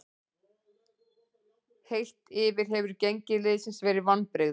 Heilt yfir hefur gengi liðsins verið vonbrigði.